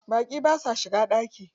Baƙi basa shiga ɗaki.